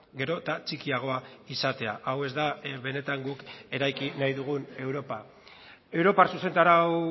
gero eta txikiagoa izatea hau ez da benetan guk eraiki nahi dugun europa europar zuzentarau